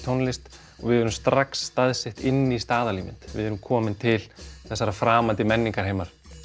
tónlist og við erum strax staðsett inn í staðalímynd við erum komin til þessa framandi menningarheims